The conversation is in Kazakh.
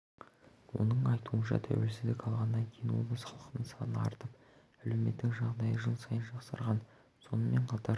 оның айтуынша тәуелсіздік алғаннан кейін облыс халқының саны артып әлеуметтік жағдайы жыл сайын жақсарған сонымен қатар